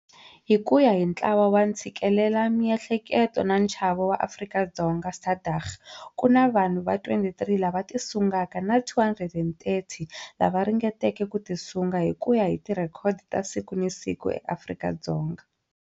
Hi ku ya hi Ntlawa wa Ntshikelelamiehleketo na Nchavo wa Afrika-Dzonga, SADAG, ku na vanhu va 23 lava tisungaka na 230 lava ringeteke ku tisunga hi ku ya hi tirhekodo ta siku ni siku eAfrika-Dzonga.